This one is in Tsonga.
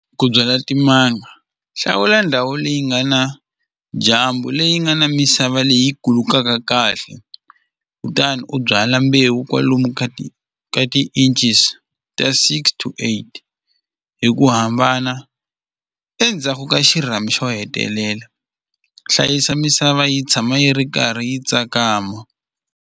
Ku byala timanga hlawula ndhawu leyi nga na dyambu leyi nga na misava leyi kulukaka kahle kutani u byala mbewu kwalomu ka ti ka ti-inches ta six to eight hi ku hambana endzhaku ka xirhami xo hetelela hlayisa misava yi tshama yi ri karhi yi tsakama.